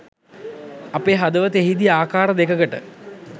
අපේ හදවත එහිදි ආකාර දෙකකට